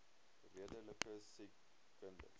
redelike siek kinders